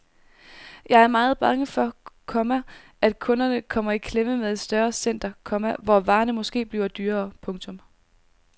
Jeg er meget bange for, komma at kunderne kommer i klemme med et større center, komma hvor varerne måske bliver dyrere. punktum